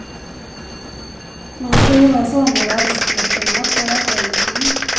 Man turas om med arbetsuppgifterna på avdelningen.